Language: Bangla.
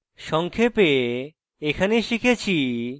সংক্ষেপে এখানে শিখেছি